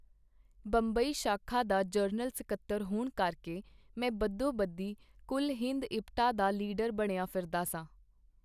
ਬੰਬਈ-ਸ਼ਾਖਾ ਦਾ ਜਨਰਲ ਸਕੱਤਰ ਹੋਣ ਕਰਕੇ ਮੈਂ ਬਦੋਬਦੀ ਕੁਲ-ਹਿੰਦ ਇਪਟਾ ਦਾ ਲੀਡਰ ਬਣਿਆਂ ਫਿਰਦਾ ਸਾਂ.